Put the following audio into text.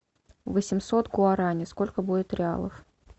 восемьсот гуарани сколько будет реалов